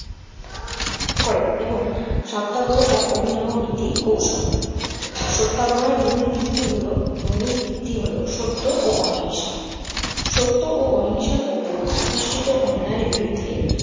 করেন এবং সত্যাগ্রহ এক অভিনব নীতি কৌশল। সত্যাগ্রহের মূল ভিত্তি হলো মূল ভিত্তি হলো সত্য ও অহিংসা। সত্য ও অহিংসার ওপর প্রতিষ্ঠিত অন্যায়ের বিরুদ্ধে